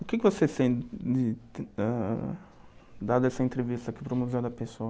O que você sente, dada essa entrevista aqui para o Museu da Pessoa?